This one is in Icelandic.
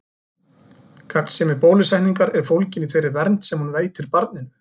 Gagnsemi bólusetningar er fólgin í þeirri vernd sem hún veitir barninu.